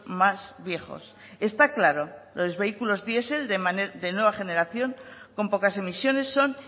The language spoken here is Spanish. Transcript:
más viejos está claro los vehículos diesel de nueva generación con pocas emisiones son